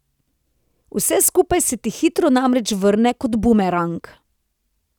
Vse skupaj se ti hitro namreč vrne kot bumerang.